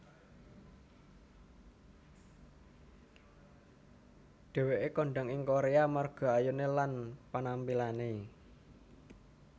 Dheweké kondhang ing Korea amarga ayuné lan panampilané